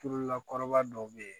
Turulila kɔrɔba dɔw bɛ yen